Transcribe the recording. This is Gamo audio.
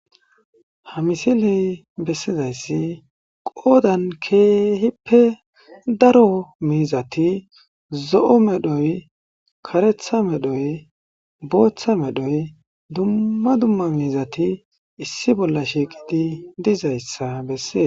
Ha misiley bessizayssi qoodan keehippe daro miizati zo,o medhoy karetha medhoy booththa medhoy dumma dumma miizati issi bolla shiiqidi dizayssa bessee.